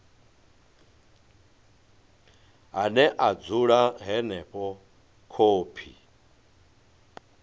ane a dzula henefho khophi